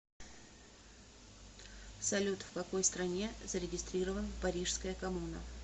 салют в какой стране зарегистрирован парижская коммуна